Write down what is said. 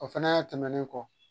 O fɛnɛ tɛmɛnen kɔ